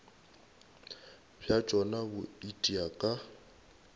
bja tšona bo itia ka